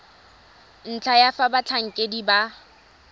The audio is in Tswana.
ntlha ya fa batlhankedi ba